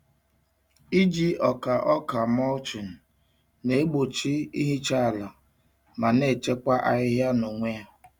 Iji ọka ọka mulching na-egbochi ihicha ala ma na-echekwa ahịhịa n'onwe ya.